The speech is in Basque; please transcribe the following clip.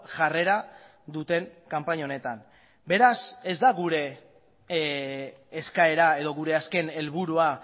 jarrera duten kanpaina honetan beraz ez da gure eskaera edo gure azken helburua